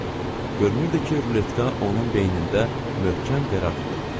Görünürdü ki, ruletka onun beynində möhkəm qərar tutub.